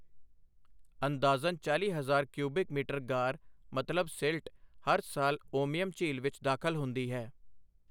ਅੰਦਾਜ਼ਨ ਚਾਲ੍ਹੀ ਹਜ਼ਾਰ cubic metre ਗਾਰ ਮਤਲਬ ਸਿਲ੍ਟ ਹਰ ਸਾਲ ਉਮੀਅਮ ਝੀਲ ਵਿੱਚ ਦਾਖਲ ਹੁੰਦੀ ਹੈ।